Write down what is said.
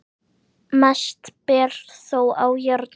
Mest ber þó á járni.